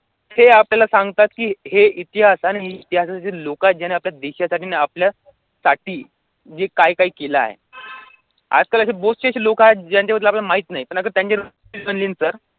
हे आपल्याला सांगतात हे इतिहास आणि इतिहासाची लोकं आहेत, ज्यांनी आपल्या देशासाठी आणि आपल्यासाठी जे काय काय केले आहे. आजकाल असे अशी लोकं आहेत ज्यांच्याबद्दल आपल्याला माहित नाही. पण आता त्यांच्या